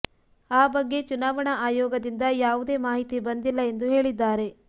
ಆ ಬಗ್ಗೆ ಚುನಾವಣಾ ಆಯೋಗದಿಂದ ಯಾವುದೇ ಮಾಹಿತಿ ಬಂದಿಲ್ಲ ಎಂದು ಹೇಳಿದ್ದಾರೆ